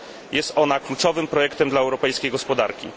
Jest ona kluczowym projektem dla europejskiej gospodarki.